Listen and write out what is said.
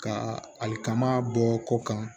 Ka hali kaman bɔ kɔ kan